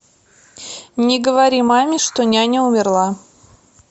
не говори маме что няня умерла